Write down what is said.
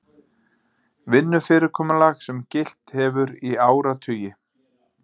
Vinnufyrirkomulag sem gilt hefur í áratugi